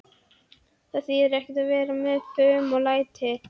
Það þýðir ekkert að vera með fum og læti.